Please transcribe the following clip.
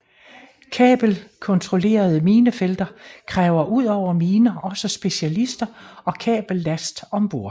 Kabelkontrollerede minefelter kræver udover miner også specialister og kabellast om bord